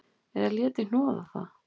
Eða léti snoða það.